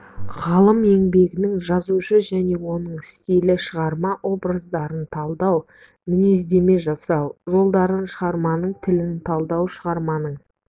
ғалым еңбегінің жазушы және оның стилі шығарма образдарын талдау мінездеме жасау жолдары шығарманың тілін талдау шығарманың